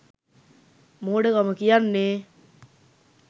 මෝඩකම කියන්නේ.